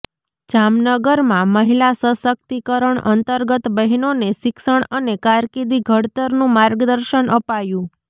જામનગરમાં મહિલા સશકિતકરણ અંતર્ગત બહેનોને શિક્ષણ અને કારકિર્દી ઘડતરનું માર્ગદર્શન અપાયું